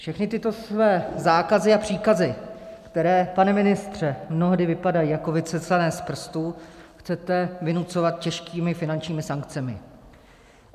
Všechny tyto své zákazy a příkazy, které, pane ministře, mnohdy vypadají jako vycucané z prstu, chcete vynucovat těžkými finančními sankcemi.